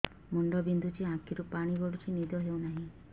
ମୁଣ୍ଡ ବିନ୍ଧୁଛି ଆଖିରୁ ପାଣି ଗଡୁଛି ନିଦ ହେଉନାହିଁ